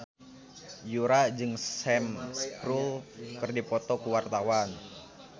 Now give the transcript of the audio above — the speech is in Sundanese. Yura jeung Sam Spruell keur dipoto ku wartawan